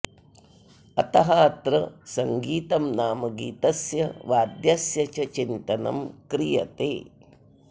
अतः अत्र सङ्गीतं नाम गीतस्य वाद्यस्य च चिन्तनं क्रियते